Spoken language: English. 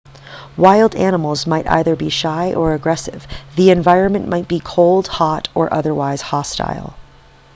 wild animals might either be shy or aggressive the environment might be cold hot or otherwise hostile